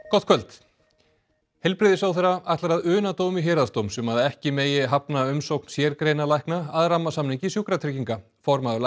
gott kvöld heilbrigðisráðherra ætlar að una dómi héraðsdóms um að ekki megi hafna umsókn sérgreinalækna að rammasamningi sjúkratrygginga formaður